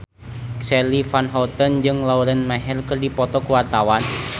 Charly Van Houten jeung Lauren Maher keur dipoto ku wartawan